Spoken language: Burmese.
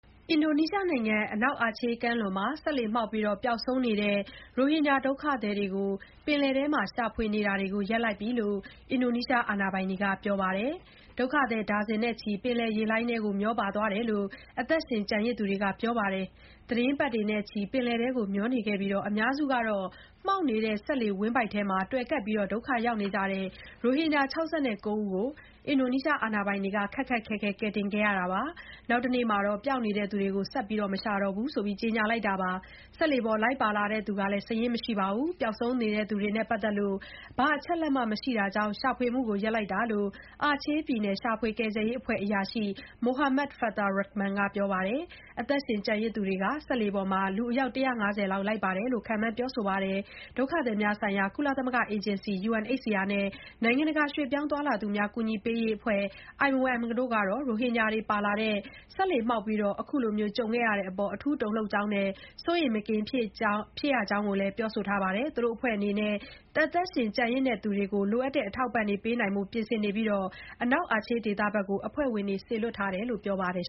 အင်ဒိုနီးရှားနိုင်ငံ အနောက်အာချေး ကမ်းလွန်မှာ စက်လှေမှောက်ပြီး ပျောက်နေတဲ့ ရိုဟင်ဂျာ ဒုက္ခသည်တချို့ကို ရှာဖွေတာတွေ ရပ်လိုက်ပြီလို့ အင်ဒိုနီးရှားအာဏာပိုင်တွေက ပြောပါတယ်။ ဒုက္ခသည် ဒါဇင်နဲ့ချီ ပင်လယ်ရေလှိုင်းနဲ့ မျောပါ သွားခဲ့တယ်လို့ အသက်ရှင် ကျန်ရစ်သူတွေက ပြောဆိုထားပါတယ်။ သီတင်းပတ်တွေနဲ့ချီ ပင်လယ်ထဲ မျောနေခဲ့ပြီး အများစုက မှောက်နေတဲ့ စက်လှေ ဝမ်းဗိုက်ပေါ်မှာ တွယ်ကပ် ဒုက္ခရောက်နေကြတဲ့ ရိုဟင်ဂျာ ၆၉ ဦးကို အင်ဒိုနီးရှား အာဏာပိုင်တွေက ခက်ခက်ခဲခဲ ကယ်တင်ခဲ့ပြီး နောက်တနေ့မှာ ပျောက်နေတဲ့ သူတွေကိုတော့ ဆက်မရှာတော့ဘူးလို့ ကြေညာလိုက်တာပါ။ စက်လှေပေါ် လိုက်ပါလာသူစာရင်း မရှိသလို ပျောက်ဆုံး နေသူတွေနဲ့ ပတ်သက်လို့ ဘာအချက်အလက်မှ မရှိတာကြောင့် ရှာဖွေမှုတွေ ရပ်လိုက်တာလို့လည်း အာချေးပြည်နယ် ရှာဖွေကယ်ဆယ်ရေးအဖွဲ့က အရာရှိ Muhammad Fathur Rachman က ပြောပါတယ်။ အသက်ရှင် ကျန်ရစ်သူတွေကတော့ စက်လှေပေါ်မှာ လူအယောက် ၁၅၀ လောက် လိုက်ပါတယ်လို့ ခန့်မှန်း ပြောဆိုကြပါတယ်။ ဒုက္ခသည်များဆိုင်ရာ ကုလသမဂ္ဂ အေဂျင်စီ UNHCR နဲ့ နိုင်ငံတကာ ရွေ့ပြောင်းသွားလာသူများ ကူညီပေးရေးအဖွဲ့ IOM တို့ကတော့ ရိုဟင်ဂျာတွေပါတဲ့ စက်လှေ မှောက်ပြီး ခုလို ကြုံခဲ့ရတဲ့အပေါ် တုန်လှုပ်မိကြောင်းနဲ့ အထူး စိုးရိမ်မကင်း ဖြစ်ရတဲ့အကြောင်း ပြောပါတယ်။ သူတို့အဖွဲ့တွေ အနေနဲ့ အသက်ရှင်ကျန်ရစ်သူတွေကို လိုအပ်တဲ့ အထောက်အပံ့တွေ ပေးနိုင်ဖို့လည်း ပြင်ဆင်နေပြီး အနောက်အာချေး ဒေသကို အဖွဲ့ဝင်တွေ စေလွှတ်ထားတယ်လို့လည်း ပြောပါတယ်